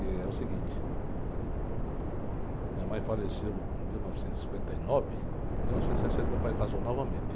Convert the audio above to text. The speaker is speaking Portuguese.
E é o seguinte, minha mãe faleceu em mil novecentos e cinquenta e nove, em mil novecentos e sessenta meu pai casou novamente.